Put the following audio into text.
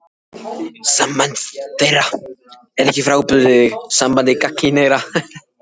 Samband þeirra er ekki frábrugðið sambandi gagnkynhneigðra.